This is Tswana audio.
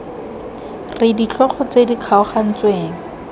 r ditlhogo tse di kgaogantsweng